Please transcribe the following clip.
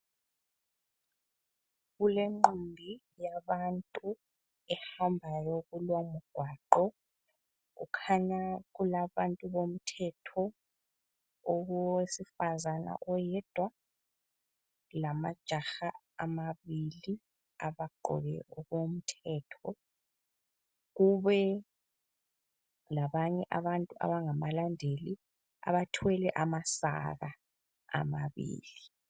Kulenqumbi yabantu ehambayo kulomgwaqo. Kukhanya kulabantu bomthetho, owesifazana oyedwa lamajaha amabili abagqoke okomthetho. Kube labanye abantu abangabalandeli abathwele amasaka amabili.